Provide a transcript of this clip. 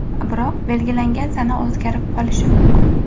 Biroq belgilangan sana o‘zgarib qolishi mumkin.